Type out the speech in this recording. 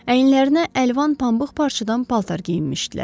Əyinlərinə əlvan pambıq parçadan paltar geyinmişdilər.